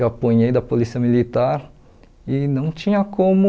Eu apanhei da polícia militar e não tinha como...